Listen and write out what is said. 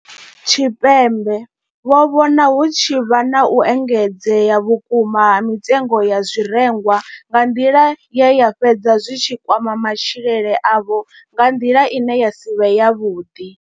Tshipembe vho vhona hu tshi vha na u engedzea vhukuma ha mitengo ya zwirengwa nga nḓila ye zwa fhedza zwi tshi kwama matshilele avho nga nḓila ine ya si vhe yavhuḓi.